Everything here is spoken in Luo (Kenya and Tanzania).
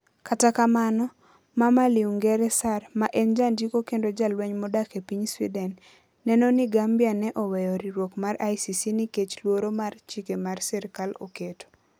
Kata kamano, Mama Linguere Sarr, ma en jandiko kendo jalweny modak e piny Sweden, neno ni Gambia ne oweyo riwruok mar ICC nikech luoro mar chike ma sirkal oketo.